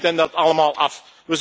U neemt hen dat allemaal af.